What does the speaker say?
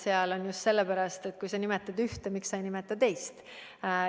See on just sellepärast, et kui sa nimetad ühte, siis miks sa ei nimeta teist.